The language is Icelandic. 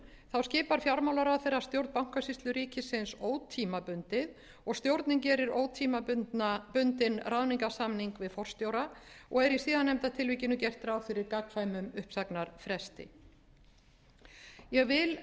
að lögum skipar fjármálaráðherra stjórn bankasýslu ríkisins ótímabundið og stjórnin gerir ótímabundinn ráðningarsamning við forstjóra og er í síðarnefnda tilvikinu gert ráð fyrir gagnkvæmum uppsagnarfresti ég vil